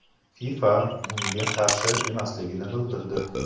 FIFA bunga qarshi emasligini bildirdi.